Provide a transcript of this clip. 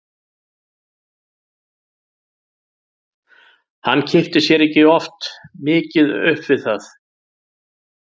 Hann kippti sér ekki of mikið upp við það.